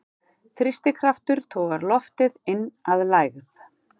Þrýstikraftur togar loftið inn að lægð.